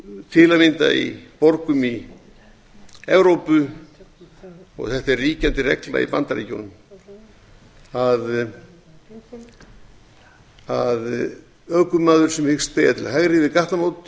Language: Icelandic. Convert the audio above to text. til að mynda í borgum í evrópu og þetta er ríkjandi regla í bandaríkjunum að ökumanni sem hyggst beygja til